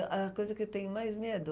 Ãh, a coisa que eu tenho mais medo...